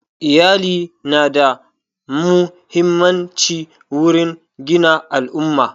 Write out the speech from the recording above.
Iyali na da muhimmanci wurin gina al'umma